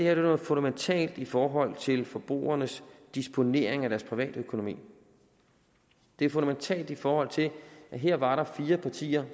er noget fundamentalt i forhold til forbrugernes disponering af deres privatøkonomi det er fundamentalt i forhold til at her var der fire partier